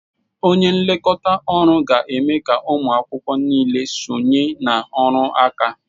Onye nlekọta ọrụ ga-eme ka ụmụ akwụkwọ niile sonye na ọrụ aka